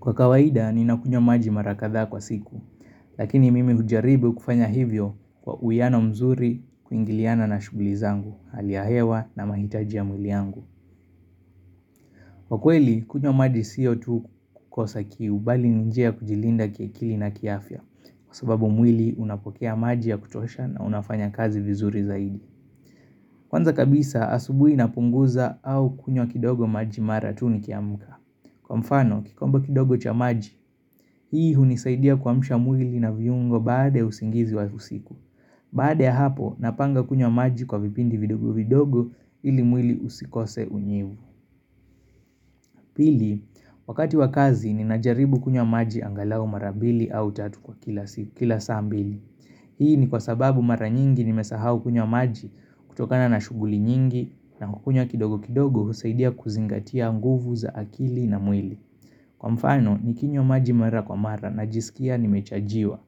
Kwa kawaida, ni na kunywa maji mara kadhaa kwa siku, lakini mimi hujaribu kufanya hivyo kwa uwiano mzuri kuingiliana na shughuli zangu, hali ya hewa na mahitaji ya mwili wangu. Kwa kweli, kunywa maji siyo tu kukosa kiu bali ni njia kujilinda kiakili na kiafya, kwa sababu mwili unapokea maji ya kutosha na unafanya kazi vizuri zaidi. Kwanza kabisa, asubui na punguza au kunywa kidogo maji mara tu nikiamka. Kwa mfano, kikombe kidogo cha maji, hii hunisaidia kuamsha mwili na viungo baada ya usingizi wa usiku. Baada ya hapo, napanga kunya maji kwa vipindi vidogo vidogo ili mwili usikose unyevu. Pili, wakati wa kazi, ninajaribu kunya maji angalau mara bili au tatu kwa kila saa mbili. Hii ni kwa sababu mara nyingi nimesahau kunya maji kutokana na shuguli nyingi na kunywa kidogo kidogo husaidia kuzingatia mguvu za akili na mwili. Kwa mfano, nikinywa maji mara kwa mara na jisikia nimechajiwa.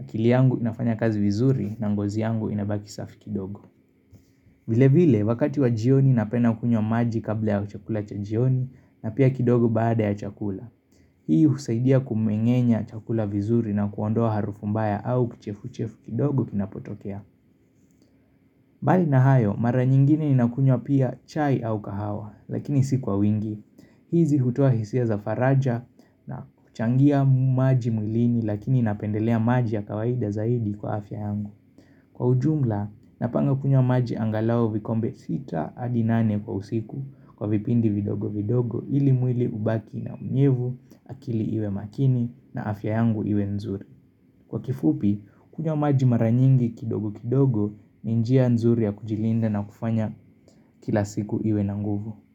Akili yangu inafanya kazi wizuri na ngozi yangu inabaki safi kidogo. Vile vile, wakati wa jioni napena kunywa maji kabla ya chakula cha jioni na pia kidogo baada ya chakula. Hii husaidia kumengenya chakula wizuri na kuondoa harufumbaya au kichefuchefu kidogo kinapotokea. Mbali na hayo, mara nyingine ninakunywa pia chai au kahawa, lakini si kwa wingi. Hizi hutoa hisia za faraja na kuchangia maji mwilini lakini napendelea maji ya kawaida zaidi kwa afya yangu Kwa ujumla napanga kunya maji angalau vikombe 6 adi nane kwa usiku kwa vipindi vidogo vidogo ili mwili ubaki na unyevu akili iwe makini na afya yangu iwe nzuri Kwa kifupi kunywa maji maranyingi kidogo kidogo ninjia nzuri ya kujilinda na kufanya kila siku uwe na nguvu.